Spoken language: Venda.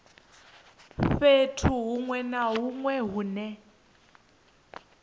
fhethu hunwe na hunwe hune